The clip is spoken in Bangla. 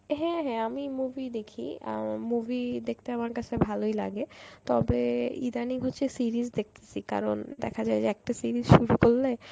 হ্যাঁ হ্যাঁ আমি movie দেখি আ উম movie দেখতে আমার কাছে ভালই লাগে, তবে ইদানিং হচ্ছে series দেখতেসি কারণ দেখা যায় যে একটা series শুরু করলে